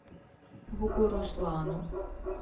бугуруслану